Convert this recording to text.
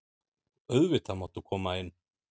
Auðvitað máttu koma inn.